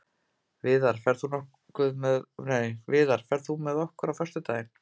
Víðar, ferð þú með okkur á föstudaginn?